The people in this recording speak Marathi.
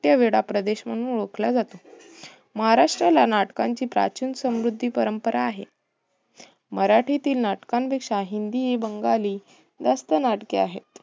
नाट्य वेडा प्रदेश म्हणून ओळखला जातो. महाराष्ट्ला नाटकांची प्राचीन समृद्धी परंपरा आहे. मराठीतील नाटकांपेक्षा हिंदी, बंगाली जास्त नाटके आहेत.